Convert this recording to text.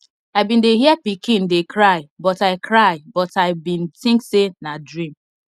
i bin dey hear pikin dey cry but i cry but i bin think say nah dream